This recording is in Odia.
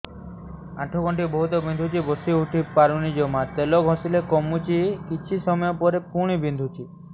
ଆଣ୍ଠୁଗଣ୍ଠି ବହୁତ ବିନ୍ଧୁଛି ବସିଉଠି ପାରୁନି ଜମା ତେଲ ଘଷିଲେ କମୁଛି କିଛି ସମୟ ପରେ ପୁଣି ବିନ୍ଧୁଛି